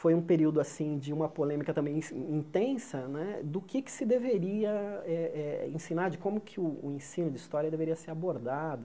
Foi um período assim de uma polêmica também ins intensa né do que se deveria eh eh ensinar, de como o ensino de história deveria ser abordado.